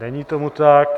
Není tomu tak.